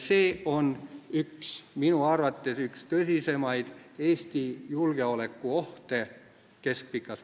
See on minu arvates keskpikas perspektiivis üks tõsisemaid Eesti julgeolekuohte.